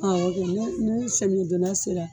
Awɔ kɛ ni semiyɛ donda sera